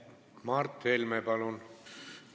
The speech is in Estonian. Mart Helme, palun!